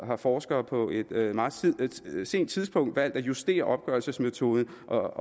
har forskere på et meget sent tidspunkt valgt at justere opgørelsesmetoden og